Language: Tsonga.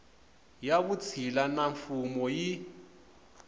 ya vutshila na mfuwo yi